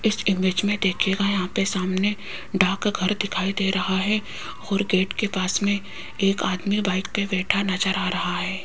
इस इमेज में देखिएगा यहां पे सामने डाक घर दिखाई दे रहा है और गेट के पास में एक आदमी बाइक पे बैठा दिखाई दे रहा है।